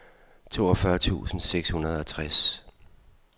toogfyrre tusind seks hundrede og tres